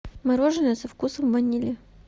мороженое со вкусом ванили